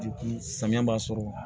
samiya b'a sɔrɔ